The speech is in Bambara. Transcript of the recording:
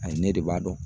Ayi ne de b'a dɔn